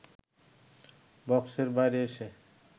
বক্সের বাইরে এসে